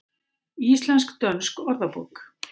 Íslensk-dönsk orðabók.